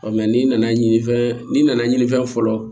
n'i nana ɲinifɛn n'i nana ɲinifɛn fɔlɔ